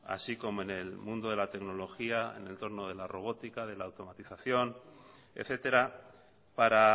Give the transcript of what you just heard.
así como en el mundo de la tecnología en el entorno de la robótica de la automatización etcétera para